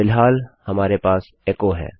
फिलहाल हमारे पास एचो है